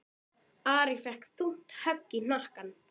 Ari fékk þungt högg í hnakkann.